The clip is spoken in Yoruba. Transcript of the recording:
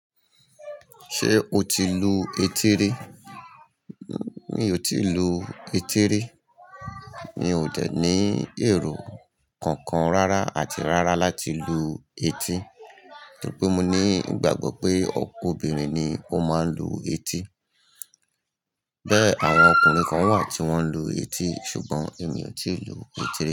Ṣé o ti lu etí rí? Mi ò tí ì lu etí rí. Mi ò dẹ ní èrò kankan rárá àti rárá láti lu etí, torí pé mo ní ìgbàgbọ́ pé obìnrin ni ó máa ń lu etí. Bẹ́ẹ̀, àwọn ọkùnrin kan wà tí wọ́n lu etí, ṣùgbọ́n èmi ò tí ì lu etí rí.